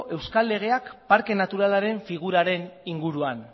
euskal legeak parke naturalaren figuraren inguruan